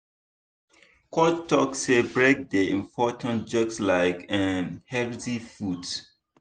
coach talk say break dey important just like um healthy food.